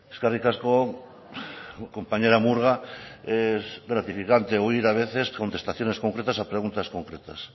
eskerrik asko compañera murga es gratificante oír a veces contestaciones concretas a preguntas concretas